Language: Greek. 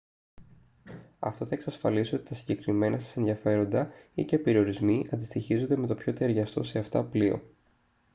αυτό θα εξασφαλίσει ότι τα συγκεκριμένα σας ενδιαφέροντα ή/και περιορισμοί αντιστοιχίζονται με το πιο ταιριαστό σε αυτά πλοίο